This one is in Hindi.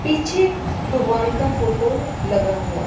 पीछे भगवान का फोटो लगा हुआ है।